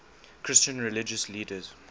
christian religious leaders